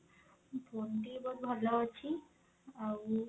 phone ଟି ବହୁତ ଭଲ ଅଛି ଆଉ